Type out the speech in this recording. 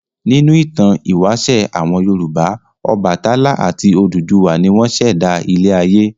Nínú ìtàn ìwáṣẹ̀ àwọn Yorùbá Ọbàtálá àti Odùduwà ni wọ́n ṣẹ̀dá ilé-ayé.